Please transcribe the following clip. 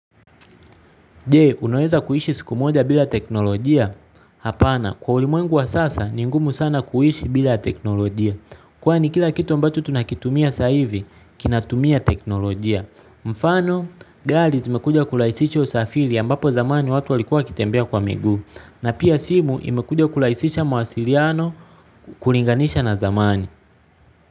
Jee, unaweza kuishi siku moja bila teknolojia? Hapana, kwa ulimwengu wa sasa, ni ngumu sana kuishi bila teknolojia. Kwa ni kila kitu ambacho tunakitumia sa hivi, kinatumia teknolojia. Mfano, gari zimekuja kurahisisha usafiri ambapo zamani watu walikuwa wakitembea kwa miguu. Na pia simu imekuja kurahisisha mawasiliano kuringanisha na zamani.